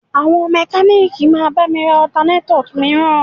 Àwọn mẹ́kalíìkì máa bá mi ra Ọtanétọ̀ mìíràn